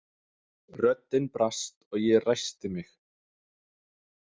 Röddin brast og ég ræskti mig.